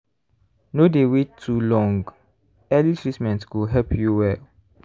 no dey wait too long early treatment go help you well.